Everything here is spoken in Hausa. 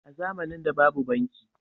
a zamanin da babu banki